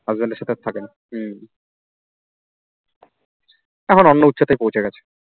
husband এর সাথে আর থাকে না হম এখন অন্য উচ্চতায় পৌঁছে গেছে